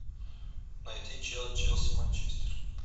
найти челси манчестер